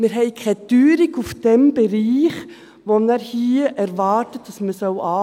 Wir haben keine Teuerung in diesem Bereich, von dem er hier erwartet, dass wir ihn anheben sollen.